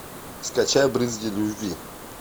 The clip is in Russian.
скачай брызги любви